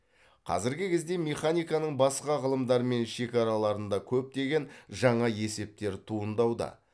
қазіргі кезде механиканың басқа ғылымдармен шекараларында көптеген жаңа есептер туындауда